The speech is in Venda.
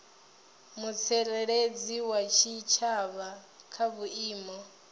mutsireledzi wa tshitshavha kha vhuimo